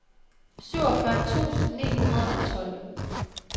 syvogfyrre tusind ni hundrede og tolv